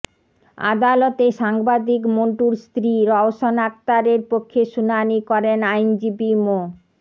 আদালতে সাংবাদিক মন্টুর স্ত্রী রওশন আখতারের পক্ষে শুনানি করেন আইনজীবী মো